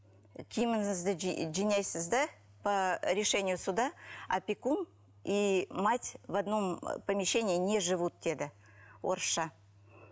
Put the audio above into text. киіміңізді жинайсыз да по решению суда опекун и мать в одном помещении не живут деді орысша